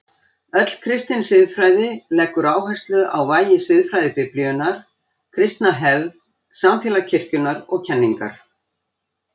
Öll kristin siðfræði leggur áherslu á vægi siðfræði Biblíunnar, kristna hefð, samfélag kirkjunnar og kenningar.